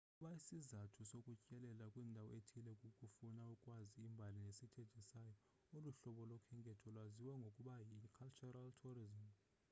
ukuba isizathu sokutyelela kwindawo ethile kukufuna ukwazi imbali nesithethe sayo olu hlobo lokhenketho lwaziwa ngokuba yi-cultural tourism